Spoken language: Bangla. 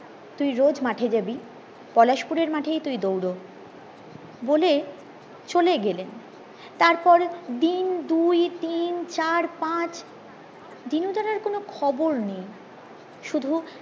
তুই রোজ মাঠে জাবি পলাশ পুরের মাঠেই তুই দৌড় বলে চলে গেলেন তারপর দিন দুই তিন চার পাঁচ দিনু দার আর কোনো খবর নেই শুধু